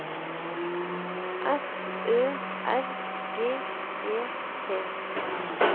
S Ø R G E T